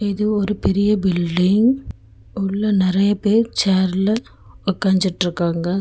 இது ஒரு பெரிய பில்டிங் உள்ள நெறைய பேர் சேர்ல உக்காஞ்சிட்ருக்காங்க.